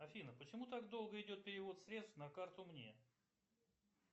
афина почему так долго идет перевод средств на карту мне